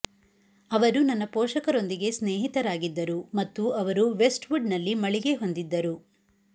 ಅವರು ನನ್ನ ಪೋಷಕರೊಂದಿಗೆ ಸ್ನೇಹಿತರಾಗಿದ್ದರು ಮತ್ತು ಅವರು ವೆಸ್ಟ್ವುಡ್ನಲ್ಲಿ ಮಳಿಗೆ ಹೊಂದಿದ್ದರು